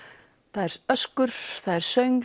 það er öskur það er